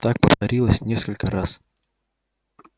так повторилось несколько раз